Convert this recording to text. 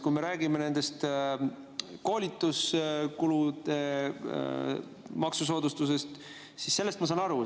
Kui me räägime koolituskuludega seotud maksusoodustusest, siis sellest ma saan aru.